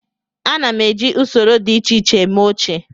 Ana m eji usoro dị iche iche eme oche